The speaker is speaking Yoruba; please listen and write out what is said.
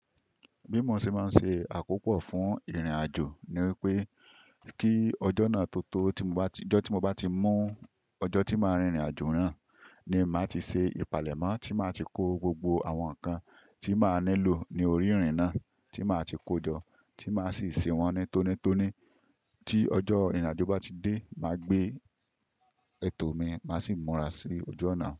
Bí mo ṣe máa ń ṣe àkópọ̀ fún ìrìnàjò ni wípé, kí ọjọ́ náà tó tó, tí mo bá ti, ọjọ́ tí mo bá ti mọ ọjọ́ tí màá rìn ìrìnàjò náà ni màá ti ṣe ìpalẹ̀mọ́, tí màá ti kó gbogbo àwọn nǹkan tí màá nílò ní orí ìrìn náà, tí màá ti kó jọ, tí màá sì ṣè wọ́n ní tónítóní. Tí ọjọ́ ìrìnàjò bá ti dé, màá gbé ètò mi, màá sì múra sí ojú ọ̀nà.